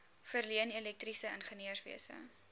verleen elektriese ingenieurswese